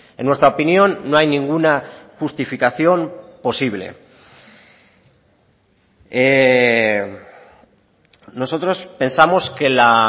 en nuestra opinión no hay ninguna justificación posible nosotros pensamos que la